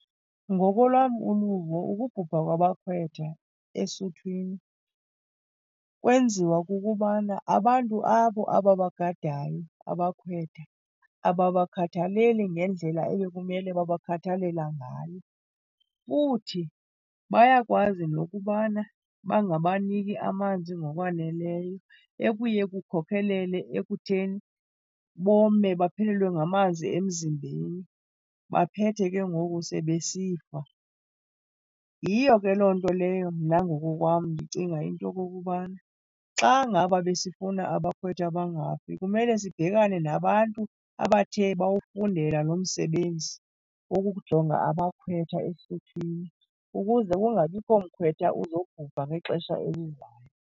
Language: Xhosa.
Ngokolwam uluvo ukubhubha kwabakhwetha esuthwini kwenziwa kukubana abantu abo ababagadayo abakhwetha ababakhathaleli ngendlela ebekumele babakhathalela ngayo. Futhi bayakwazi nokubana bangabaniki amanzi ngokwaneleyo ekuye kukhokhelele ekutheni, bome baphelelwe ngamanzi emzimbeni baphethe ke ngoku sebesifa. Yiyo ke loo nto leyo mna ngokokwam ndicinga into yokokubana xa ngaba besifuna abakhwetha bangafi kumele sibhekane nabantu abathe bawufundela lo msebenzi wokujonga abakhwetha esuthwini ukuze kungabikho mkhwetha uzobhubha ngexesha elizayo.